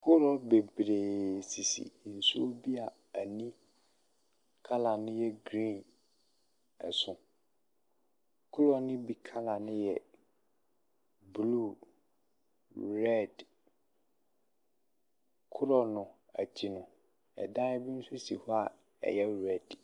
Korɔ beberee sisi nsuo a ani kala no yɛ griin ɛso. Korɔ ne bi kala no yɛ blu, rɛd. Korɔ no akyi no, ɛdan bi nso si hɔ a ɛyɛ rɛd.